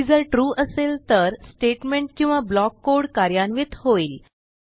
ती जर ट्रू असेल तर स्टेटमेंट किंवा ब्लॉक कोड कार्यान्वित होईल